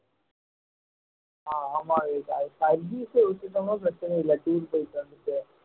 ஆஹ் ஆமா இதான் service ஐ விட்டுட்டோம்ன்னா பிரச்சனை இல்லை tour போயிட்டு வந்துட்டு